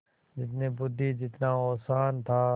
जितनी बुद्वि जितना औसान था